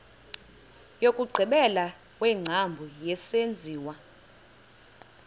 wokugqibela wengcambu yesenziwa